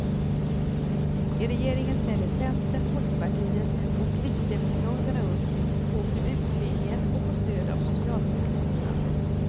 I regeringen ställer centern, folkpartiet och kristdemokraterna upp på förbudslinjen och får stöd av socialdemokraterna.